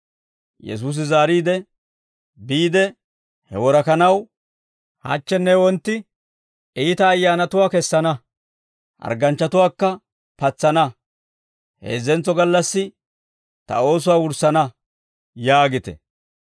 Yesuusi zaariide, «Biide he worakanaw, ‹Hachchenne wontti iita ayyaanatuwaa kessana; hargganchchatuwaakka patsana; heezzentso gallassi ta oosuwaa wurssana› yaagite.